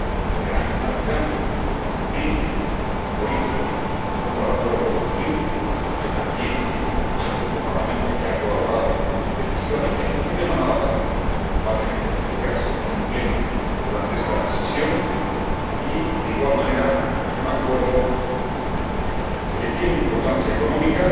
de gran alcance jurídico y político como el Acuerdo SWIFT, en el que también este Parlamento ha colaborado decisivamente —en un tema nada fácil— y sobre el que va a tener que pronunciarse en Pleno durante este período parcial de sesiones. Y de igual manera un acuerdo que tiene importancia económica,